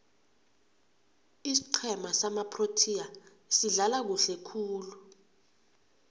isiqhema samaproteas sidlala kuhle khulu